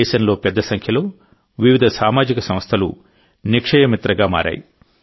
దేశంలో పెద్ద సంఖ్యలో వివిధ సామాజిక సంస్థలు నిక్షయ మిత్రగా మారాయి